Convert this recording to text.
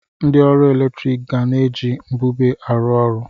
Ndị ọrụ eletrik ga na-eji mbube arụ ọrụ.